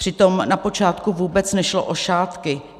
Přitom na počátku vůbec nešlo o šátky.